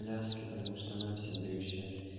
пляски потому что она всем завещает